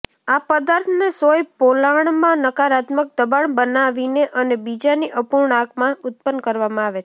આ પદાર્થને સોય પોલાણમાં નકારાત્મક દબાણ બનાવીને અને બીજાની અપૂર્ણાંકમાં ઉત્પન્ન કરવામાં આવે છે